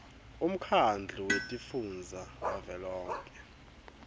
umkhandlu wetifundza wavelonkhe